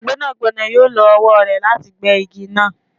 Gbẹnagbẹna yoo lo ọwọ rẹ lati gbe igi naa